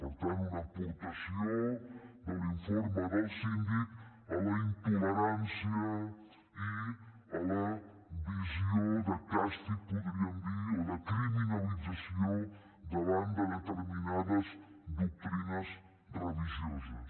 per tant una aportació de l’informe del síndic a la intolerància i a la visió de càstig en podríem dir o de criminalització davant de determinades doctrines religioses